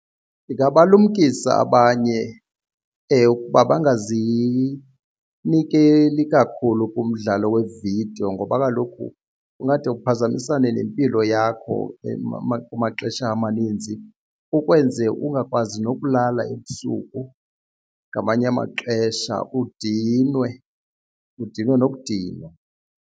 Ndingabalumkisa abanye uba bangazinikeli kakhulu kumdlalo wevidiyo ngoba kaloku kungade kuphazamisane nempilo yakho kumaxesha amaninzi kukwenze ungakwazi nokulala ebusuku ngamanye amaxesha udinwe, udinwe nokudinwa.